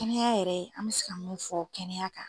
Kɛnɛya yɛrɛ , an be se ka mun fɔ kɛnɛya kan.